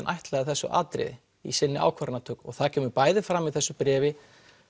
ætlaði þessu atriði í sinni ákvarðanatöku það kemur bæði fram í þessu bréfi